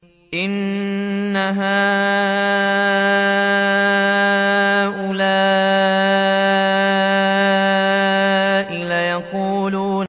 إِنَّ هَٰؤُلَاءِ لَيَقُولُونَ